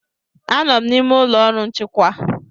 Anọ m n'ime ụlọ ọrụ nchịkwa.